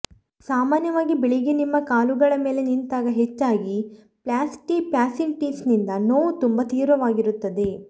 ಸಾಮಾನ್ಯವಾಗಿ ಬೆಳಿಗ್ಗೆ ನಿಮ್ಮ ಕಾಲುಗಳ ಮೇಲೆ ನಿಂತಾಗ ಹೆಚ್ಚಾಗಿ ಪ್ಲ್ಯಾಸ್ಟಿ ಫ್ಯಾಸಿಟಿಸ್ನಿಂದ ನೋವು ತುಂಬಾ ತೀವ್ರವಾಗಿರುತ್ತದೆ